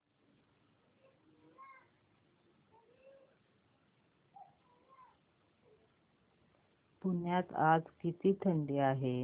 पुण्यात आज किती थंडी आहे